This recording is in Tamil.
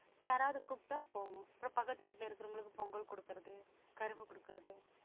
யாராவது கூப்பிட்டா போவோம் அப்புறம் பக்கத்து வீட்டுல இருக்கிறவங்களுக்கு பொங்கல் குடுக்கறது கரும்பு குடுக்கறது